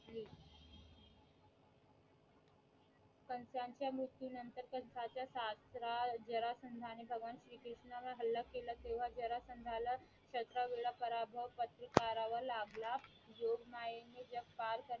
पण त्यांच्या मृत्यू नतंर पण सासरा जरासंधा ने भगवान श्री कृष्ण वर हल्ला केला तेव्हा जरासंधाला सतरा वेळा पराभव पत्कारावा लागला जोगमायेने जग